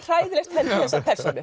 hræðilegt hendi þessar persónur